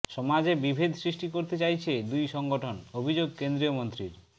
সমাজে বিভেদ সৃষ্টি করতে চাইছে দুই সংগঠন অভিযোগ কেন্দ্রীয় মন্ত্রীর